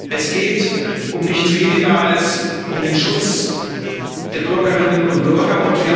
Es geht um nichts weniger als um den Schutz der Bürgerinnen und Bürger.